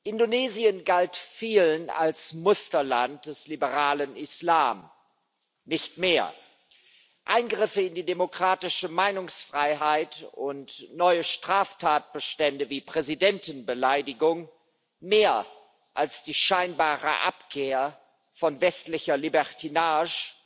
Indonesien galt vielen als Musterland des liberalen Islam nicht mehr Eingriffe in die demokratische Meinungsfreiheit und neue Straftatbestände wie Präsidentenbeleidigung mehr als die scheinbare Abkehr von westlicher Libertinage